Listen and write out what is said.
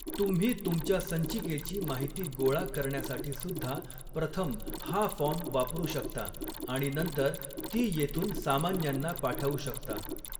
तुम्ही तुमच्या संचिकेची माहिती गोळा करण्यासाठीसुद्धा प्रथम हा फॉर्म वापरू शकता आणि नंतर ती येथून सामान्यांना पाठवू शकता.